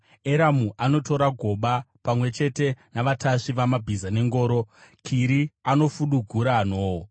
Eramu anotora goba, pamwe chete navatasvi vamabhiza nengoro; Kiri anofudugura nhoo.